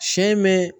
Sɛ in bɛ